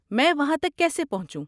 میں وہاں تک کیسے پہنچوں؟